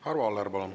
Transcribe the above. Arvo Aller, palun!